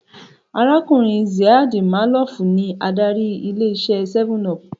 Arákùnrin Ziad Maalouf ní adarí ilé iṣé 7up